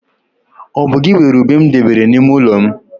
Ọ bu gị weere ube m debere n'ime ọnụ ụlọ m?